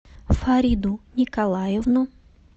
фариду николаевну